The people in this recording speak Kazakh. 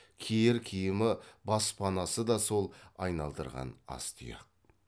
киер киімі бас панасы да сол айналдырған аз тұяқ